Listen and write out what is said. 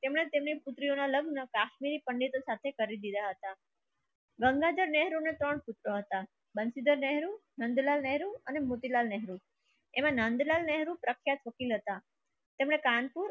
એમને લગ્ન કાશ્મીરી પંડિત થાતે કરી દિયા હતા. ગંગાધર નહેરુ ના ત્રણ પુત્ર હતા બંસીધર નહેરુ નંદલાલ નહેરુ અને મોતીલાલ નહેરુ એમાં નંદલાલ નહેરુ પ્રખ્યાત વકીલ હતા. તેમને